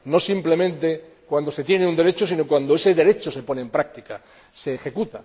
no simplemente cuando se tiene un derecho, sino cuando ese derecho se pone en práctica, se ejerce.